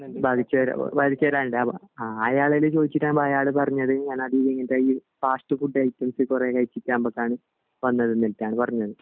ബാധിച്ചവർ ബാധിച്ചവരാഗ്ണ്ട് ആ അയാളോട് ചോയ്ച്ചപ്പോ അയാൾ പറഞ്ഞത് ഞാൻ ഫാസ്റ്റ് ഫുഡ് ഐറ്റംസ് കൊറേ കഴിച്ചിട്ട് വന്നത് പറഞ്ഞത്